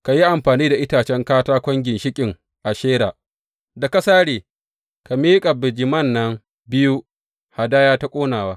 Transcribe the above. Ka yi amfani da itacen katakon ginshiƙin Ashera da ka sare, ka miƙa bijiman nan biyu hadaya ta ƙonawa.